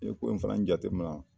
N'i ko in fana jate mina.